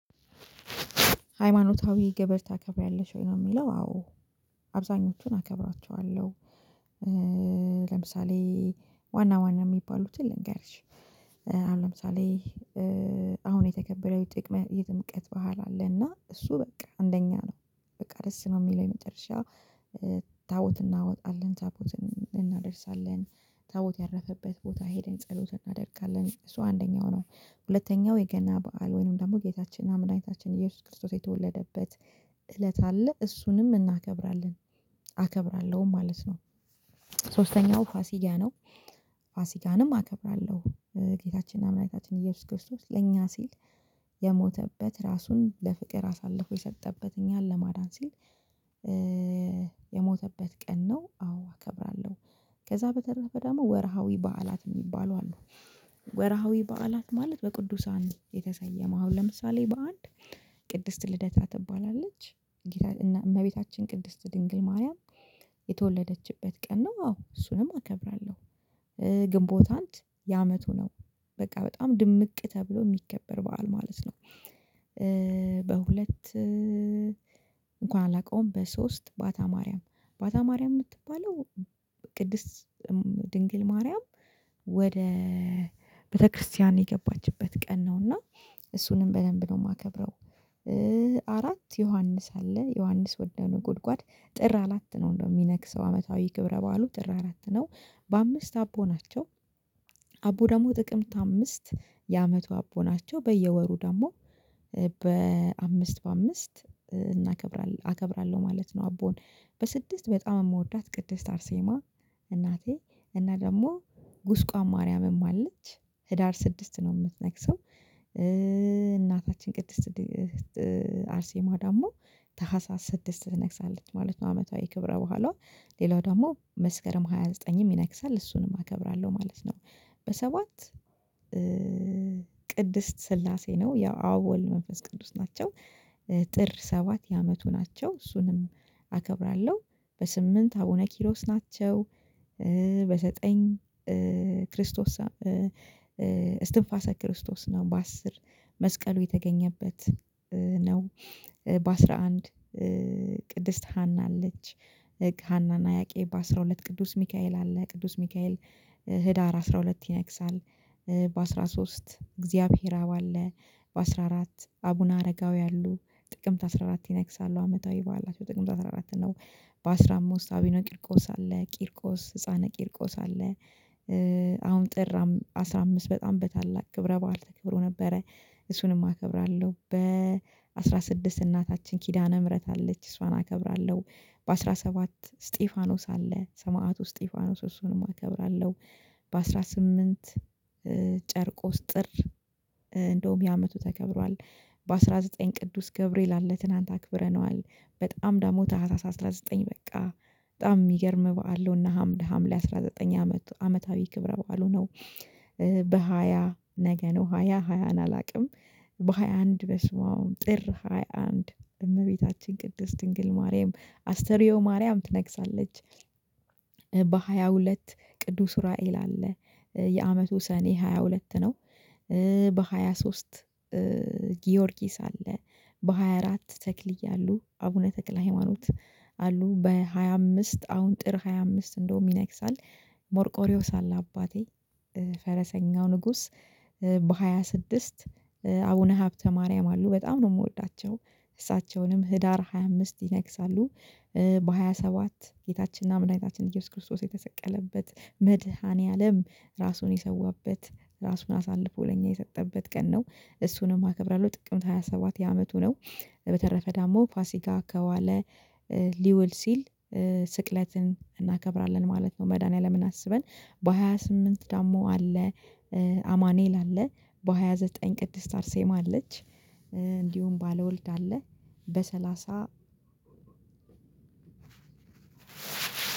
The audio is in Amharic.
ሃይማኖታዊ ግብር ታከብሪያለሽ ወይ ነው የሚለው? አዎ አብዛኞቹን አከብራቹዋለው። ለምሳሌ ዋና ዋና የሚባሉትን ልንገርሽ አሁን ለምሳሌ አሁን የተከበረው የጥምቀት በዓል አለ እና እሱ በቃ አንደኛ ነው። በቃ ደስ ነው የሚለኝ መጨረሻ ታቦት እናወጣለን ታቦትን እናደርሳለን ታቦት ያረፈበት ቦታ ሄደን ጸሎት እናደርጋለን እሱ አንደኛው ነው ሁለተኛው የገና በዓል ወይንም ደግሞ ጌታችን አምላካችን ኢየሱስ ክርስቶስ የተወለደበት እለት አለ እሱንም እናከብራለን አከብራለው ማለት ነው። ሶስተኛው ፋሲጋ ነው ፋሲጋንም አከብራለው ጌታችንና መድሃንታችን እየሱስ ክርስቶስ ለኛ ሲል የሞተበት ራሱን ለፍቅር አሳልፎ የሰጠበት እኛን ለማዳን ሲል የሞተበት ቀን ነው አዎ አከብራለው ከዛ በተረፈ ደግሞ ወርሃዊ በዓላት የሚባሉ አሉ። ወርሃዊ በዓላት ማለት በቅዱሳን የተሰየመው አሁን ለምሳሌ በአንድ ቅድስት ልደታ ትባላለች እና እመቤታችን ቅድስት ድንግል ማርያም የተወለደችበት ቀን ነው አዎ እሱንም አከብራለው ግንቦት አንድ የአመቱ ነው በቃ በጣም ድምቅ ተብሎ የሚከበር በዓል ማለት ነው። በሁለት አንኳን አላቀውም በሶስት ባታ ማርያም ባታ ማርያም የምትባለው ቅድስት ድንግል ማርያም ወደ ቤተክርስቲያን የገባችበት ቀን ነውና እሱንም በደንብ ነው የማከብረው አራት ዮሐንስ አለ ዮሐንስ ወደንጉድጓድ ጥር አላት ነው እንደው የሚነግሰው አመታዊ ክብረ ባዓሉ ጥር አራት ነው በአምስት አቦ ናቸው። አቦ ደግሞ ጥቅምት አምስት የአመቱ አቦ ናቸው በየወሩ ደግሞ በአምስት በአምስት እከብራለው ማለት ነው አቦን በስድስት በጣም የምወዳት ቅድስት አርሴማ እናቴ እና ደግሞ ጉስቋ ማርያምም አለች ህዳር ስድስት ነው የምትነግሰው እናታችን ቅድስት አርሴማ ደግሞ ታህሳስ ስድስት ትነግሳለች ማለት ነው አመታዊ ክብረ በዓሉዋ ሌላው ደግሞ መስከረም ሃያ ዘጠኝም ይነግሳል እሱንም አከብራለው ማለት ነው በሰባት ቅድስት ስላሴ ነው ያው አብ ወልድ መንፈስ ቅዱስ ናቸው። ጥር ሰባት የአመቱ ናቸው እሱንም አከብራለው በስምንት አቡነ ኪሮስ ናቸው በዘጠኝ ክርስቶስ ቅድስት ስላሴ ነው ያው አብ ወልድ መንፈስ ቅዱስ ናቸው። ጥር ሰባት የአመቱ ናቸው እሱንም አከብራለው በስምንት አቡነ ኪሮስ ናቸው በዘጠኝ ክርስቶስ ሃና አና ያቄብ በአስራ ሁለት ቅዱስ ሚካኤል አለ ቅዱስ ሚካኤል ህዳር አስራ ሁለት ይነግሳል። በአስራ ሶስት አግዚሃብሔር አብ አለ በአስራ አራት አቡነ አረጋዊ አሉ ጥቅምት አስራ አራት ይነግሳሉ አመታዊ በዓላት ጥቅምት አስራ አራት ነው። በአስራ አምስት አቡነ ቂርቆስ አለ ቂርቆስ ህፃነ ቂርቆስ አለ አሁን ጥር አስራ አምስት በጣም በታላቅ ክብረ በዓል ተክብሮ ነበረ እሱንም አከብራው በአስራ ስድስት እናታችን ኪዳነ ምህረት አለች እሷን አከብራለው በአስራ ሰባት እስጢፋኖስ አለ ሰማዕቱ እስጢፋኖስ እሱንም አከብራለሁ በአስራ ስምንት ጨርቆስ ጥር እንደውም የአመቱ ተከብሯል በአስራ ዘጠኝ ቅዱስ ገብርኤል አለ ትናንት አክብረነዋል። በጣም ደግሞ ታህሳስ አስራ ዘጠኝ በቃ በጣም የሚገርም በዓል ነው። እና ሀምሌ አስራ ዘጠኝ አመት አመታዊ ክብረ በዓሉ ነው በሃያ ነገ ነው ሃያ ሃያን አላውቅም በሃያ አንድ በስማም አሁን ጥር ሃያ አንድ እመቤታችን ቅድስት ድንግል ማርያም አስተርዮ ማርያም ትነግሳለች። በሃያ ሁለት ቅዱስ ኡራኤል አለ የአመቱ ሰኔ ሃያ ሁለት ነው። በሃያ ሶስት ጊዮርጊስ አለ በሃያ አራት ተክልየ አሉ። አቡነ ተክለ ሃይማኖት አሉ በሃያ አምስት አሁን ጥር ሃያ አምስት እንደውም ይነግሳል ሞርቆሪዮስ አለ አባቴ ፈረሰኛው ንጉስ በሃያ ስድስት አቡነ ሀብተ ማርያም አሉ በጣም ነው የምወዳቸው እሳቸውንም ህዳር ሃያ አምስት ይነግሳሉ በሃያ ሰባት ጌታችንና መድሃንታችን ኢየሱስ ክርስቶስ የተሰቀለበት መድኃኒዓለም ራሱን የሰዋበት ራሱን አሳልፎ ለኛ የሰጠበት ቀን ነው እሱንም አከብራለው ጥቅምት ሃያ ሰባት የአመቱ ነው። በተረፈ ዳሞ ፋሲካ ከዋለ ሊውል ሲል ስቅለትን እናከብራለን ማለት ነው መድኃኒዓለምን አስበን በሃያ ስምንት ደግሞ አማኔል አለ በሃያ ዘጠኝ ቅድስት አርሴማ አለች እንዲሁም ባለወልድ አለ በሰላሳ